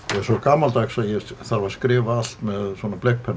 svo gamaldags að ég þarf að skrifa allt með